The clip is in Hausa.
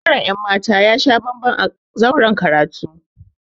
Ɓangaren ‘yan mata ya sha bamban a zauren karatu.